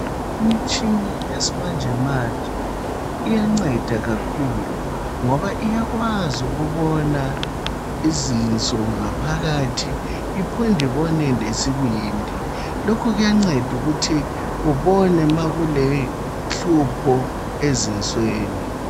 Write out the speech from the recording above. imitshina yesimanjemanje iyanceda kakhulu ngoba iyakwazi ukubona izinso ngaphakathi iphinde ibone lesibindi lokhu kuyanceda ukuthi ubone nxa kulohlupho ezinsweni